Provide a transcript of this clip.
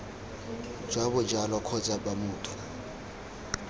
jwa bojalwa kgotsa b motho